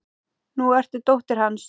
Nú ertu dóttir hans.